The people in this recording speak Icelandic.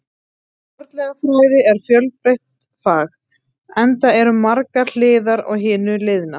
Fornleifafræði er fjölbreytt fag, enda eru margar hliðar á hinu liðna.